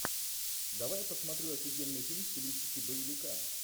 давай я посмотрю офигенный фильм в стилистике боевика